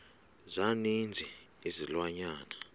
za ninzi izilwanyana